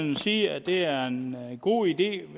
vel sige at det er en god idé